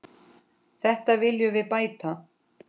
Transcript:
Þetta viljum við bæta.